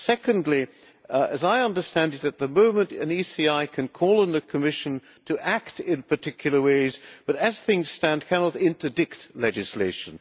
Secondly, as I understand it at the moment, an ECI can call on the Commission to act in particular ways, but as things stand cannot interdict legislation.